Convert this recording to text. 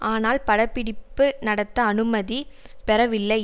ஆனால் படப்பிடிப்பு நடத்த அனுமதி பெறவில்லை